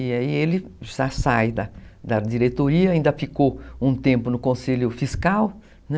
E aí ele já sai da diretoria, ainda ficou um tempo no conselho fiscal, né?